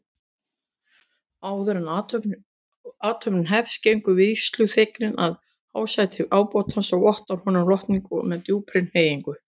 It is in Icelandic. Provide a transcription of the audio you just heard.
Áðuren athöfnin hefst gengur vígsluþeginn að hásæti ábótans og vottar honum lotningu með djúpri hneigingu.